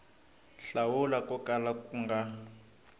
hlawula ko kala ku nga